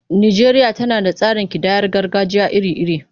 Najeriya tana da tsarin kidayar gargajiya iri-iri.